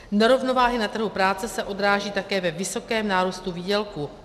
Nerovnováhy na trhu práce se odráží také ve vysokém nárůstu výdělků.